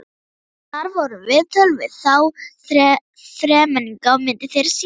Þar voru viðtöl við þá þremenninga og myndir þeirra sýndar.